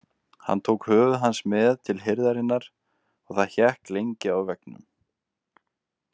Hann tók höfuð hans með til hirðarinnar og það hékk lengi á veggnum.